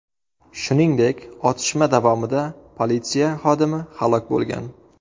Shuningdek, otishma davomida politsiya xodimi halok bo‘lgan.